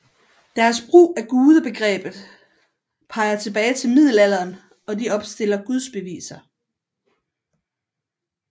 Deres brug af gudsbegrebet peger tilbage til middelalderen og de opstiller gudsbeviser